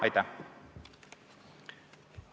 Aitäh!